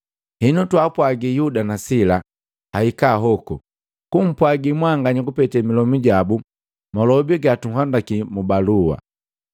Henu twaapwagi Yuda na Sila ahika hoku, kumpwagi mwanganya kupetee milomu jabu malobi gatunhandaki mu balua.